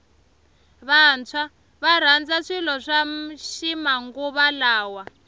vantshwa varandza swilo swa ximanguva lawa